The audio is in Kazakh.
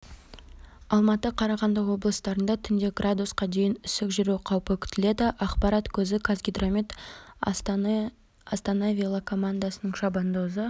алматы қарағанды облыстарында түнде градусқа дейін үсік жүру қаупі күтіледі ақпарат көзі қазгидромет астаны велокомандасының шабандозы